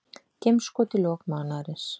Geimskot í lok mánaðarins